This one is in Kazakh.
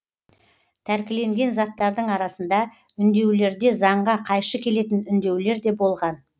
тәркіленген заттардың арасында үндеулерде заңға қайшы келетін үндеулер де болған